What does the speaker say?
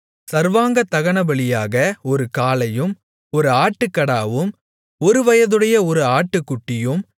சர்வாங்கதகனபலியாக ஒரு காளையும் ஒரு ஆட்டுக்கடாவும் ஒருவயதுடைய ஒரு ஆட்டுக்குட்டியும்